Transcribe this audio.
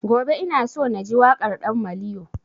Gobe ina so na ji waƙar ɗan maliyo